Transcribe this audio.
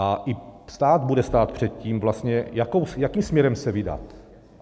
A i stát bude stát před tím vlastně, jakým směrem se vydat.